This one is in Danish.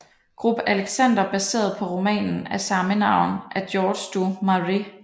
Grubb Alexander baseret på romanen af samme navn af George du Maurier